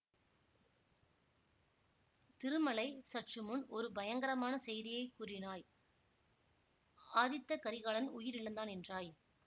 திருமலை சற்றுமுன் ஒரு பயங்கரமான செய்தியை கூறினாய் ஆதித்த கரிகாலன் உயிர் இழந்தான் என்றாய்